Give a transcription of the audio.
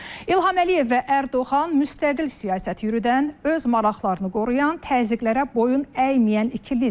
İlham Əliyev və Ərdoğan müstəqil siyasət yürüdən, öz maraqlarını qoruyan, təzyiqlərə boyun əyməyən iki liderdir.